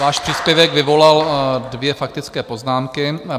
Váš příspěvek vyvolal dvě faktické poznámky.